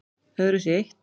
Öðru sé eytt